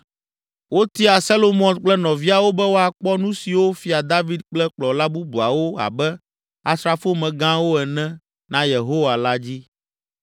Wotia Selomɔt kple nɔviawo be woakpɔ nu siwo Fia David kple kplɔla bubuawo abe, asrafomegãwo ene, na Yehowa la dzi.